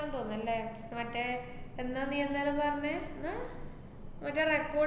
തോന്നുന്ന് അല്ലെ, മറ്റേ എന്താ നീ അന്നേരം പറഞ്ഞേ അഹ് ഇവരടെ record ആ